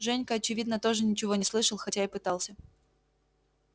женька очевидно тоже ничего не слышал хотя и пытался